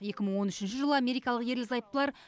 екі мың он үшінші жылы америкалық ерлі зайыптылар